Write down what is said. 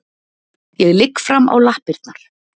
Ég ligg fram á lappirnar.